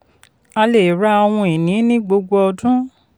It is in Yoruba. a lè ra ohun ìní ní gbogbo ọdún.